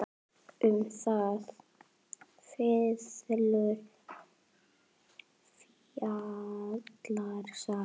Um þá fiðlu fjallar sagan.